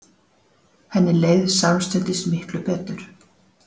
Henni leið samstundis miklu betur.